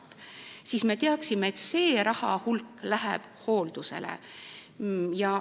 Sel juhul me teaksime, et see raha läheb hooldusele.